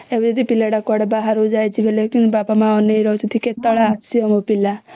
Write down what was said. ଏବେ ଯଦି ପିଲା ଟା କୁଆଡେ ବାହାରକୁ ଯାଇଛି ବେଳେ ବାପା ମା ଅନେଇକି ରହିଥାନ୍ତି କେତେବେଳେ ଆସିବ ମୋ ପିଲା